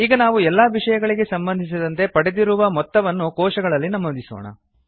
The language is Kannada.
ಈಗ ನಾವು ಎಲ್ಲಾ ವಿಷಯಗಳಿಗೆ ಸಂಬಂಧಿಸಿದಂತೆ ಪಡೆದಿರುವ ಮೊತ್ತವನ್ನು ಕೋಶಗಳಲ್ಲಿ ನಮೂದಿಸೋಣ